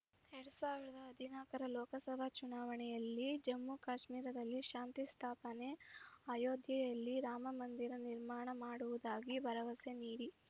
ಎರಡ್ ಸಾವಿರದ ಹದಿನಾಲ್ಕರ ಲೋಕಸಭಾ ಚುನಾವಣೆಯಲ್ಲಿ ಜಮ್ಮು ಕಾಶ್ಮೀರದಲ್ಲಿ ಶಾಂತಿ ಸ್ಥಾಪನೆ ಅಯೋಧ್ಯೆಯಲ್ಲಿ ರಾಮ ಮಂದಿರ ನಿರ್ಮಾಣ ಮಾಡುವುದಾಗಿ ಭರವಸೆ ನೀಡಿ